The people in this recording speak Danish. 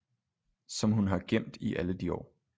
Som han har gemt i alle de år